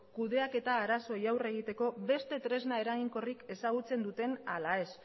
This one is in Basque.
kudeaketa arazoei aurre egiteko beste tresna eraginkorrik ezagutzen duten ala ez